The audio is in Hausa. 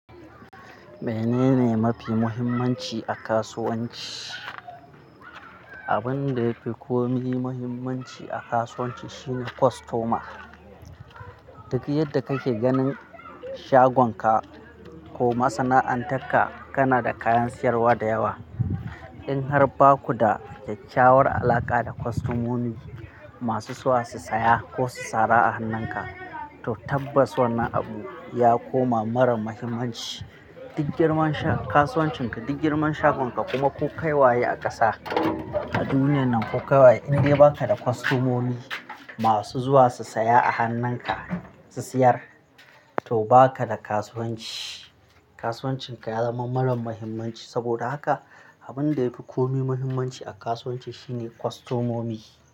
Menene mafi muhimmanci a kasuwanci? Abin da yafi kome muhimmanci a kasuwanci shine kostoma. Duk yadda ka ke ganin shagonka ko masana'antarka kana da kayan sayarwa da yawa. In har baku da kyakyawar alaƙa da kostomomi masu zuwa su saya ko su tsara a hannunka, to tabbas wannan abu ya koma marar muhimmanci. Duk girman kasuwancinka, duk girman shagonka kuma ko kai waye a ƙasa, a duniyan nan ka kai in dai baka da kostomomi masu zuwa su saya a hannunka, su siyar, to baka da kasuwanci. Kasuwancinka ya zama marar muhimmanci. Saboda haka abin da yafi kome muhimmanci a kasuwanci shine kostomomi.